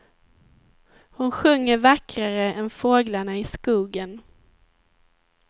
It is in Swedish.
Hon sjunger vackrare än fåglarna i skogen.